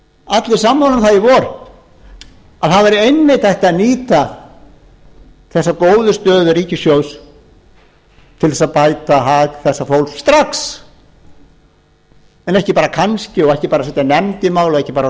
allir sammála um það í vor að það væri einmitt hægt að nýta þessa góðu stöðu ríkissjóðs til að bæta hag þessa fólks strax en ekki bara kannski og ekki bara setja nefnd í málið og ekki bara